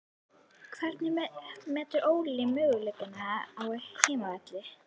Hvernig metur Óli möguleikana á heimavelli?